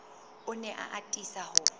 o ne a atisa ho